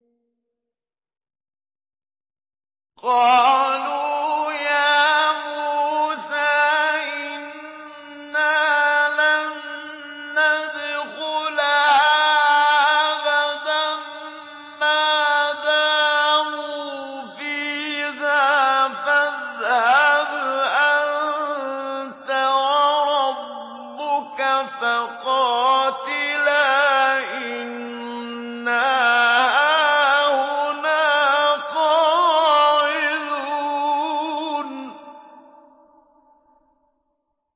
قَالُوا يَا مُوسَىٰ إِنَّا لَن نَّدْخُلَهَا أَبَدًا مَّا دَامُوا فِيهَا ۖ فَاذْهَبْ أَنتَ وَرَبُّكَ فَقَاتِلَا إِنَّا هَاهُنَا قَاعِدُونَ